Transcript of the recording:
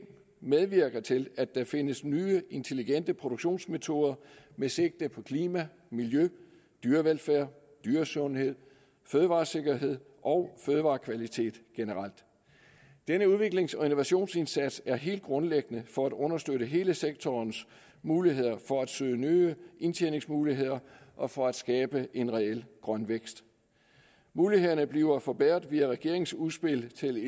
medvirker til at der findes nye intelligente produktionsmetoder med sigte på klima miljø dyrevelfærd dyresundhed fødevaresikkerhed og fødevarekvalitet generelt denne udviklings og innovationsindsats er helt grundlæggende for at understøtte hele sektorens muligheder for at søge nye indtjeningsmuligheder og for at skabe en reel grøn vækst mulighederne bliver forbedret via regeringens udspil til